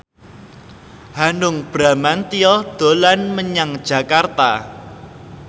Hanung Bramantyo dolan menyang Jakarta